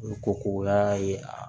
O ko ko o y'a ye a